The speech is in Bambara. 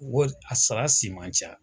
Wari, a sara si man ca.